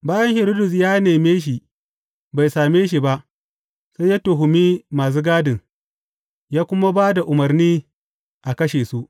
Bayan Hiridus ya neme shi bai same shi ba, sai ya tuhumi masu gadin, ya kuma ba da umarni a kashe su.